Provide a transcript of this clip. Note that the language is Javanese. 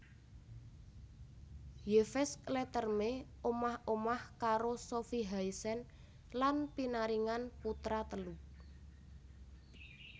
Yves Leterme omah omah karo Sofie Haesen lan pinaringan putra telu